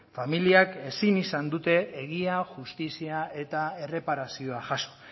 familiak ezin izan dute egia justizia eta erreparazioa jaso